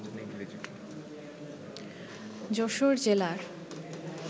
যশোর জেলার